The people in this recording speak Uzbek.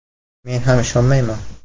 Men ham ishonmayman.